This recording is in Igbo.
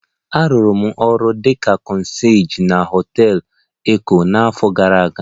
Arụrụ m ọrụ dị ka concierge na họtel Eko n'afọ gara aga